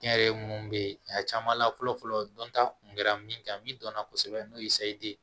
Kɛnyɛrɛye munnu be ye a caman la fɔlɔ fɔlɔ dɔnta kun kɛra min kan min dɔnna kosɛbɛ n'o ye ye